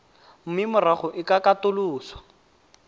mme morago e ka katoloswa